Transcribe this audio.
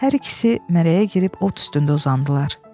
Hər ikisi mərəyə girib ot üstündə uzandılar.